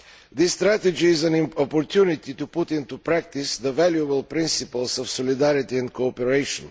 This strategy is an opportunity to put into practice the valuable principles of solidarity and cooperation.